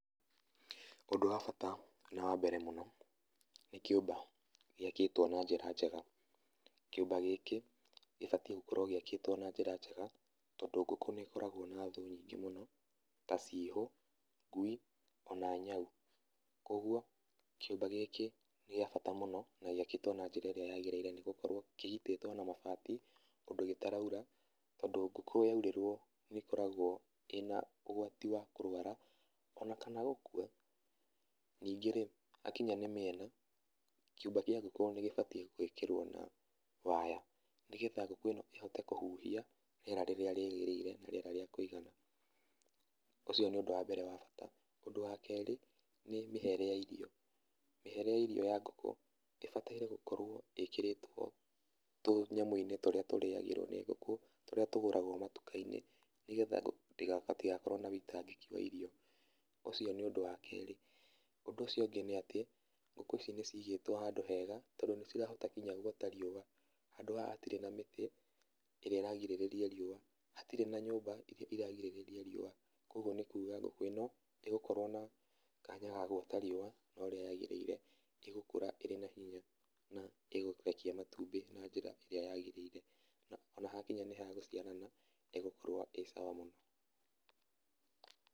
Ũndũ wa bata na wa mbere mũno nĩ kĩũmba gĩakĩtwo na njĩra njega. Kĩũmba gĩkĩ gĩbatiĩ gũkorwo gĩakĩtwo na njĩra njega tondũ ngũkũ nĩ ikoragwo na thũ nyingĩ mũno ta cihũ, ngui ona nyau. Koguo kĩũmba gĩkĩ nĩ gĩabata mũno na gĩakĩtwo na njĩra ĩrĩa yagĩrĩire nĩ gũkorwo kĩgitĩtwo na mabati ũndũ gĩtaraura tondũ ngũkũ yaurĩrwo nĩ ĩkoragwo ĩna ũgwati wa kũrwara ona kana gũkua. Ningĩ-rĩ, hakinya nĩ mĩena, kĩũmba kĩa ngũkũ nĩ gĩbatiĩ gwĩkĩrwo na waya nĩ getha ngũkũ ĩno ĩhote kũhuhia rĩera rĩrĩa rĩagĩrĩire, na rĩera rĩa kũigana. Ũcio nĩ ũndũ wa mbere wa bata. Ũndũ wa kerĩ nĩ mĩhere ya irio. Mĩhere ya irio ya ngũkũ ĩbataire gũkorwo ĩkĩrĩtwo tũnyamũ-inĩ tũrĩa tũrĩagĩrwo nĩ ngũkũ tũrĩa tũgũragwo matuka-inĩ nĩgetha ngũkũ hatigakorwo na ũitangĩki wa irio. Ũcio nĩ ũndũ wa kerĩ. Ũndũ ũcio ũngĩ nĩ atĩ, ngũkũ ici nĩ cigĩtwo handũ hega tondũ nĩ cirahota nginya guota riũa. Handũ haha hatirĩ na mĩtĩ ĩrĩa ĩrarigĩrĩria riũa, hatirĩ na nyũmba ĩrĩa ĩrigagĩrĩria riũa, kũoguo nĩ kuga ngũkũ ĩno ĩgũkorwo na kanya ga guota riũa ũrĩa rĩagĩrĩire , ĩgũkũra irĩ na hinya na ĩkũrekia matumbĩ na njĩra ĩrĩa yagĩrĩire ona hakinya nĩ ha gũciarana, ĩgũkorwo ĩ sawa mũno.